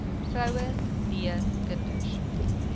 vroue b kinders